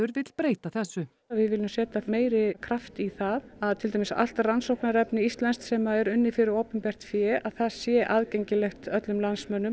vill breyta þessu við viljum setja meiri kraft í það allt rannsóknarefni íslenskt sem er unnið fyrir opinbert fé að það sé aðgengilegt öllum landsmönnum